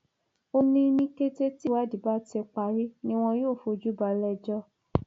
ó ní ní kété tíwádìí bá ti parí ni wọn yóò fojú balẹẹjọ